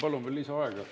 Palun ka lisaaega.